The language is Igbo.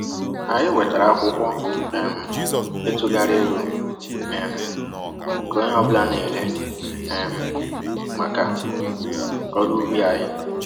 Anyị wetara akwụkwọ um ịtụgharị ego um nke onye ọ bụla na-ele um maka ọrụ ubi anyị.